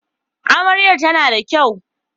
Amaryar tana da kyau